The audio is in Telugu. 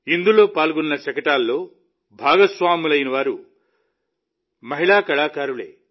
ఇందులో పాల్గొన్న శకటాల్లో భాగస్వాములైన వారు కూడా మహిళా కళాకారులే